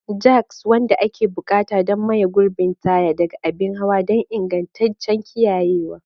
Jacks, wanda ake buƙata don maye gurbin taya, ɗaga abin hawa don ingantaccen kiyayewa.